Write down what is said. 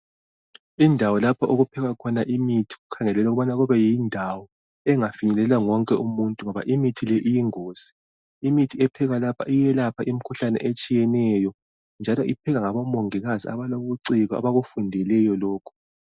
Indawo lapho okiphekwa khona imithi, kukhangelelwe ukuba kube yindawo engafinyelelwa nguye wonke umuntu, ngoba imithi le iyingozi. Imithi ephekwa lapha, iyelapha imikhuhlane yonke etshiyeneyo, njalo iphekwa ngabomongikazi abalobuciko. Abakufundeleyo lokhu.